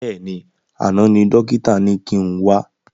Bẹ́ẹ̀ni, àná ni dókítà ni kin wá